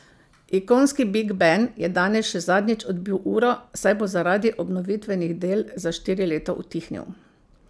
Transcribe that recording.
Ikonski Big Ben je danes še zadnjič odbil uro, saj bo zaradi obnovitvenih del za štiri leta utihnil.